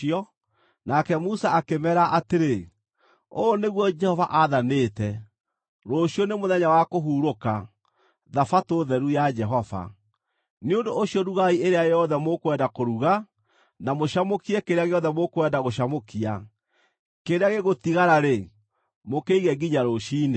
Nake Musa akĩmeera atĩrĩ, “Ũũ nĩguo Jehova aathanĩte, ‘Rũciũ nĩ mũthenya wa kũhurũka, Thabatũ Theru ya Jehova. Nĩ ũndũ ũcio rugai ĩrĩa yothe mũkwenda kũruga, na mũcamũkie kĩrĩa gĩothe mũkwenda gũcamũkia. Kĩrĩa gĩgũtigara-rĩ, mũkĩige nginya rũciinĩ.’ ”